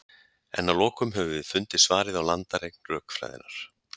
En að lokum höfum við fundið svarið á landareign rökfræðinnar.